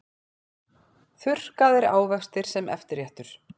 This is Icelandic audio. Þurrkaðir ávextir sem eftirréttur